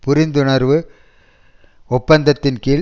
புரிந்துணர்வு ஒப்பந்தத்தின் கீழ்